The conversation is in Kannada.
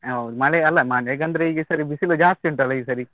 ಹೌದ್ ಮಳೆ ಅಲ್ಲಾ, ಮಳೆಗಂದ್ರೆ ಈಗ ಸರಿ ಬಿಸಿಲು ಜಾಸ್ತಿ ಉಂಟಲ್ಲ ಈ ಸರಿ.